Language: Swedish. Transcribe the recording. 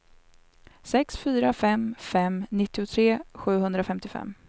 sex fyra fem fem nittiotre sjuhundrafemtiofem